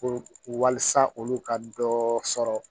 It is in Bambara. Ko waasa olu ka dɔ sɔrɔ